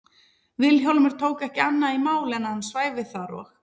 Vilhjálmur tók ekki annað í mál en að hann svæfi þar og